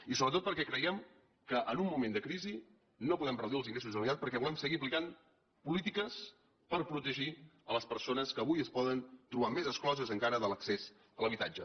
i sobretot perquè creiem que en un moment de crisi no podem reduir els ingressos de la generalitat perquè volem seguir aplicant polítiques per protegir les persones que avui es poden trobar més excloses encara de l’accés a l’habitatge